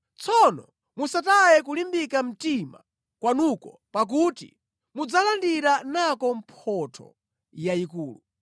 Tsono musataye kulimbika mtima kwanuko pakuti mudzalandira nako mphotho yayikulu.